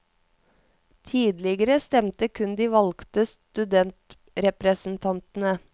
Tidligere stemte kun de valgte studentrepresentantene.